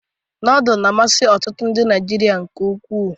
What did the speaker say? Nodulu na-amasị ọtụtụ ndị Naịjirịa nke ukwuu.